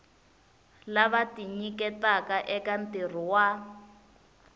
lava tinyiketaka eka ntirho wa